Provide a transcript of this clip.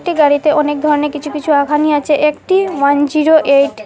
এই গাড়িতে অনেক ধরনের কিছু কিছু আঘানি আছে একটি ওয়ান জিরো এইট ।